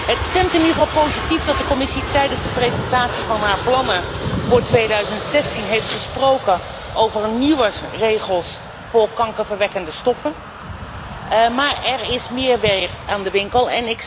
Het stemt in ieder geval positief dat de Commissie tijdens de presentatie van haar plannen voor 2016 heeft gesproken over nieuwe regels voor kankerverwekkende stoffen, maar er is meer werk aan de winkel.